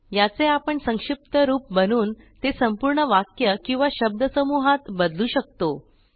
याचे आपण संक्षिप्त रूप बनवून ते संपूर्ण वाक्य किंवा शब्दसमूहात बदलू शकतो